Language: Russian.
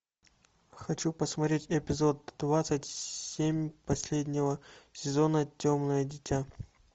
хочу посмотреть эпизод двадцать семь последнего сезона темное дитя